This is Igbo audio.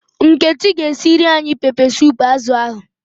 Nkechi g'esiri anyi pepe sup azu ahu